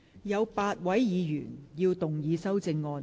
有8位議員要動議修正案。